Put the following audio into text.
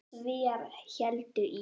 Svíar héldu í